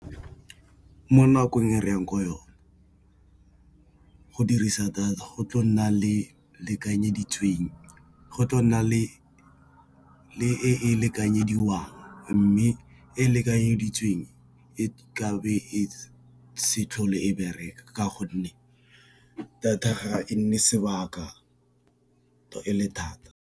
Mo nakong e re yang ko yone go dirisa di go tla nna le lekanyeditsweng go tla nna le e lekanyediwang, mme e lekanyeditsweng e ka be e se tlhole e bereka ka gonne data ga e nne sebaka e le thata.